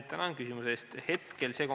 Tänan küsimuse eest!